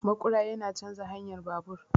Maƙura yana canja hanyar babur